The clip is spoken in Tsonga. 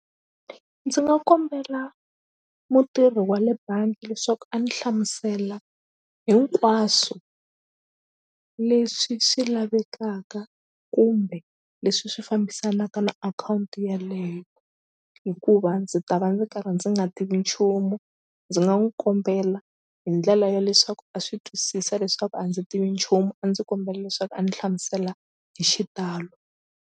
Ndzi nga kombela mutirhi wa le bangi leswaku a ni hlamusela hinkwaswo leswi swi lavekaka kumbe leswi swi fambisanaka na akhawunti yaleyo hikuva ndzi ta va ndzi karhi ndzi nga tivi nchumu ndzi nga n'wu kombela hi ndlela ya leswaku a swi twisisa leswaku a ndzi tivi nchumu a ndzi kombela leswaku a ni hlamusela hi xitalo.